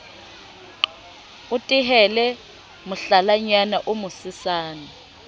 o tehele mohlalanyana o mosesane